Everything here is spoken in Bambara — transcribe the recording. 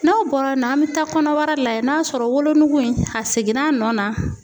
N'o bɔra yen nɔ , an be taa kɔnɔbara lajɛ n'a sɔrɔ wolonugu in a seginna a nɔ na.